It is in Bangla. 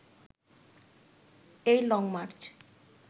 এই লং মার্চ